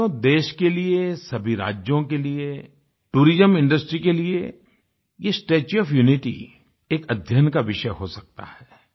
साथियों देश के लिए सभी राज्यों के लिए टूरिज्म इंडस्ट्री के लिए ये स्टेच्यू ओएफ यूनिटी एक अध्ययन का विषय हो सकता है